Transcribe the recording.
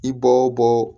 I bɔ bɔ